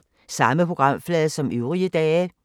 Samme programflade som øvrige dage